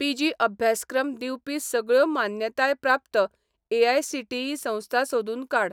PG अभ्यासक्रम दिवपी सगळ्यो मान्यताय प्राप्त एआयसीटीई संस्था सोदून काड.